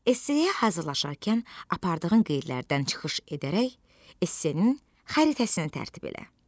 Esse-yə hazırlaşarkən apardığın qeydlərdən çıxış edərək esse-nin xəritəsini tərtib elə.